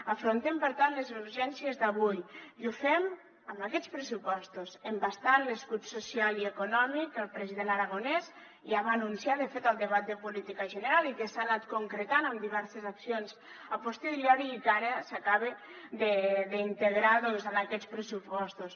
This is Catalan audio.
afrontem per tant les urgències d’avui i ho fem amb aquests pressupostos embastant l’escut social i econòmic que el president aragonès ja va anunciar de fet al debat de política general i que s’ha anat concretant en diverses accions a posteriori i que ara s’acaba d’integrar doncs en aquests pressupostos